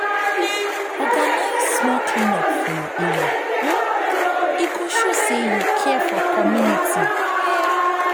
organize small clean up for your area; e go show say you care for community.